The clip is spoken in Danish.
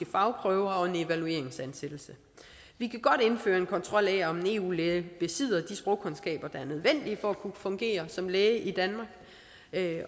fagprøver og en evalueringsansættelse vi kan godt indføre en kontrol af om en eu læge besidder de sprogkundskaber der er nødvendige for at kunne fungere som læge i danmark